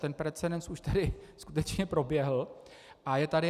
Ten precedens už tady skutečně proběhl a je tady.